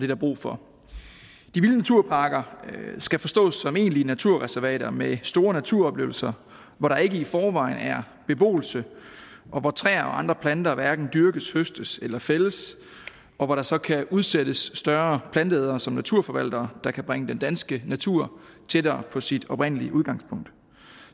der brug for de vilde naturparker skal forstås som egentlige naturreservater med store naturoplevelser hvor der ikke i forvejen er beboelse og hvor træer og andre planter hverken dyrkes høstes eller fældes og hvor der så kan udsættes større planteædere som naturforvaltere der kan bringe den danske natur tættere på sit oprindelige udgangspunkt